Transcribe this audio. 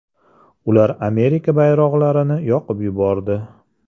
Ular Amerika bayroqlarini yoqib yubordi.